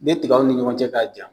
Ni tigaw ni ɲɔgɔncɛ k'a jan